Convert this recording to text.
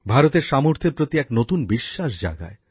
ভারতের সামর্থ্যের প্রতি এক নতুন বিশ্বাস জাগায়